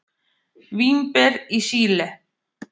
Vínber í Síle.